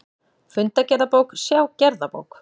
Fundagerðabók, sjá gerðabók